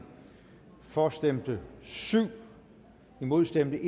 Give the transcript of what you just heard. for stemte syv imod stemte